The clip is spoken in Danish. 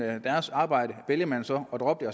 deres arbejde vælger man så at droppe